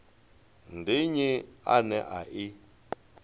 ndi nnyi ane a i